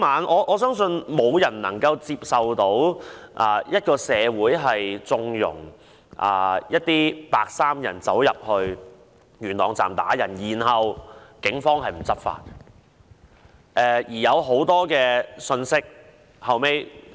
我相信，沒有人能夠接受社會縱容白衣人走進元朗站打人，而警方卻沒有執法。